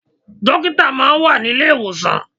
Dókítà máa ń wà ní ilé ìwòsàn.